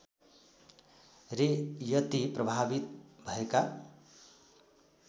रे यति प्रभावित भएका